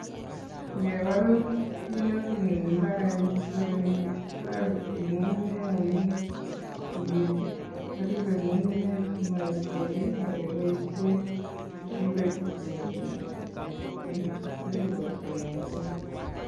Ngebal minutik eng' mbarenik kila kenyit kotoreti ng'ung'unyek amu tigitik koribe ng'ung'unyek simaib beek, ageboisie keturek che terchin ak che terchin, koriboksei ng'ung'unyek